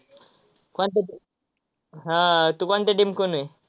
हा, तु कोणच्या team आहे?